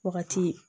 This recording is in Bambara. Wagati